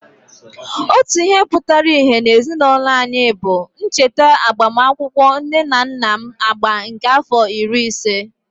Otu ihe pụtara íhé n'ezinụlọ anyị bụ ncheta agbamakwụkwọ nne na nna m agba nke àfọ iri ise.